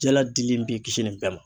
Jala dili in b'i kisi nin bɛɛ ma